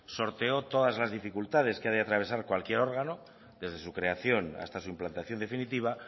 sorteó todas las dificultades que ha de atravesar cualquier órgano desde su creación hasta su implantación definitiva